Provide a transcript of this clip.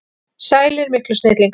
Sælir miklu snillingar!